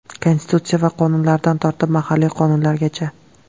Konstitutsiya va qonunlaridan tortib, mahalliy qonunlargacha.